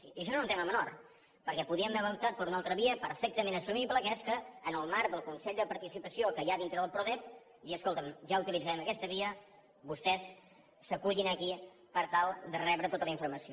i això no és un tema menor perquè podíem haver optat per una altra via perfectament assumible que és que en el marc del consell de participació que hi ha dintre del prodep dir escolta’m ja utilitzem aquesta via vostès s’acullin aquí per tal de rebre tota la informació